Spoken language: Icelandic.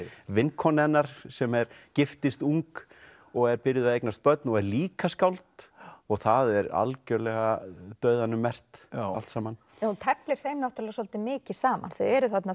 vinkona hennar sem giftist ung og er byrjuð að eignast börn og er líka skáld og það er algjörlega dauðanum merkt allt saman hún teflir þeim svolítið mikið saman þau eru þarna